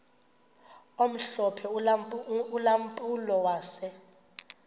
omhlophe ulampulo wase